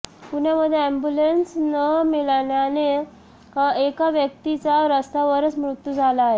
पुण्यामध्ये अॅम्ब्युलन्स न मिळाल्यानं एका व्यक्तीचा रस्त्यावरच मृत्यू झाला आहे